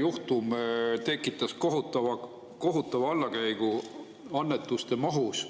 juhtum tekitas kohutava allakäigu annetuste mahus?